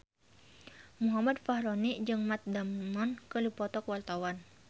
Muhammad Fachroni jeung Matt Damon keur dipoto ku wartawan